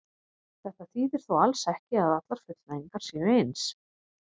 Þetta þýðir þó alls ekki að allar fullnægingar séu eins.